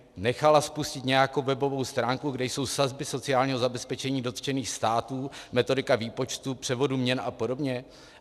Nechala spustit nějakou webovou stránku, kde jsou sazby sociálního zabezpečení dotčených států, metodika výpočtů, převodu měn a podobně?